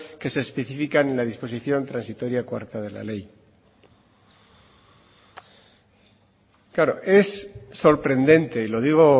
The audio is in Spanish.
que se especifican en la disposición transitoria cuarta de la ley claro es sorprendente y lo digo